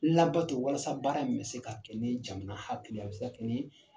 Laadatɔ walasa baara in be se ka kɛ jamana hakiliya ye a bɛ se ka kɛ nii